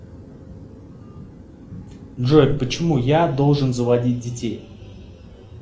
джой почему я должен заводить детей